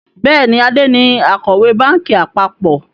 Bẹ́ẹ̀ni, Ade ni Akọ̀wé báńkì àpapọ̀